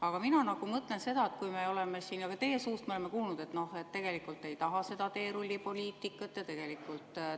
Aga mina mõtlen seda, et me oleme siin teie suust kuulnud, et tegelikult te ei taha seda teerullipoliitikat ja